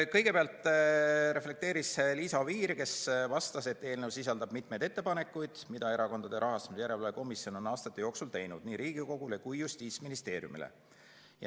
Kõigepealt reflekteeris Liisa Oviir, kes vastas, et eelnõu sisaldab mitut ettepanekut, mida Erakondade Rahastamise Järelevalve Komisjon on aastate jooksul teinud nii Riigikogule kui ka Justiitsministeeriumile.